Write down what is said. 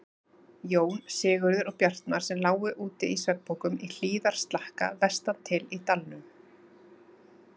Jón, Sigurður og Bjartmar, sem lágu úti í svefnpokum í hlíðarslakka vestan til í dalnum.